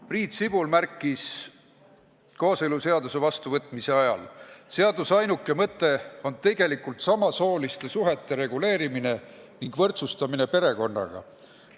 Priit Sibul märkis kooseluseaduse vastuvõtmise ajal: seaduse ainuke mõte on tegelikult samasooliste paaride suhete reguleerimine ning võrdsustamine perekonnaga.